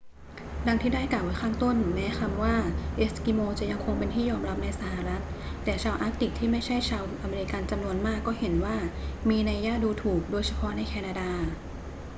ดังที่ได้กล่าวไว้ข้างต้น แม้ว่าคำว่า เอสกิโม จะยังคงเป็นที่ยอมรับในสหรัฐ แต่ชาวอาร์กติกที่ไม่ใช่ชาวอเมริกันจำนวนมากก็เห็นว่ามีนัยยะดูถูก โดยเฉพาะในแคนาดา